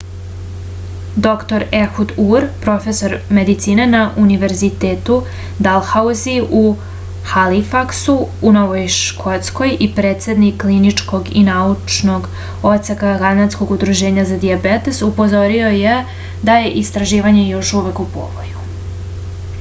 dr ehud ur profesor medicine na univerzitetu dalhauzi u halifaksu u novoj škotskoj i predsednik kliničkog i naučnog odseka kanadskog udruženja za dijabetes upozorio je da je istraživanje još uvek u povoju